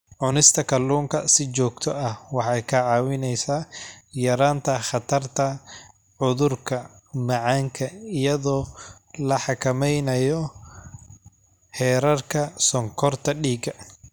Cunista kalluunka si joogto ah waxay kaa caawinaysaa yaraynta khatarta cudurka macaanka iyadoo la xakameynayo heerarka sonkorta dhiigga.